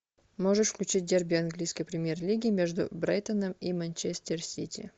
можешь включить дерби английской премьер лиги между брайтоном и манчестер сити